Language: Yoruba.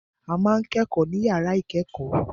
A ma ń kẹ́kọ̀ọ́ ní yàrá ìkẹ́kọ̀ọ́.